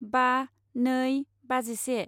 बा नै बाजिसे